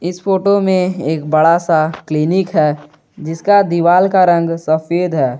इस फोटो में एक बड़ा सा क्लीनिक है जिसका दीवाल का रंग सफेद है।